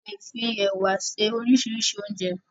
A le fi ẹ̀wà se oríṣiríṣi óúnjẹ.